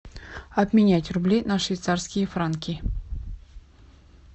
обменять рубли на швейцарские франки